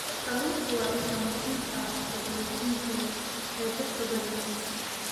Kalluunku waa isha muhiimka ah ee borotiinka ee dadka badankiisa.